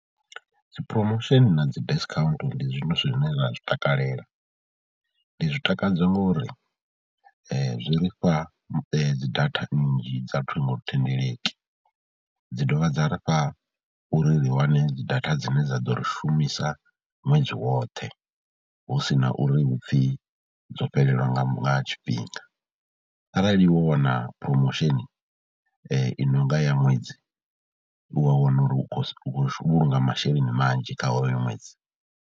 Dzi promotion na dzi discount ndi zwithu zwine nda zwi takalela, ndi zwi takadzwa ngori zwi ri fha dzi data nnzhi dza ṱhingothendeleki, dzi dovha dza ri fha uri ri wane dzi data dzine dza ḓo ri shumisa ṅwedzi woṱhe hu si na uri hu pfhi dzo fhelelwa nga tshifhinga, arali wo wana promotion i no nga ya ṅwedzi u wa wana uri u khou vhulunga masheleni manzhi kha hoyo ṅwedzi.